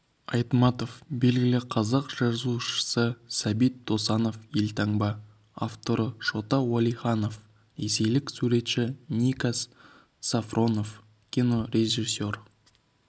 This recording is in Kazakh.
айтматов белгілі қазақ жазушысы сәбит досанов елтаңба авторы шота уәлиханов ресейлік суретші никас сафронов кинорежиссер